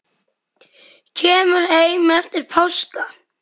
Kemur heim eftir páska.